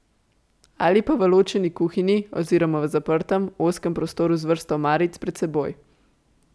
Ali pa v ločeni kuhinji oziroma v zaprtem, ozkem prostoru z vrsto omaric pred seboj.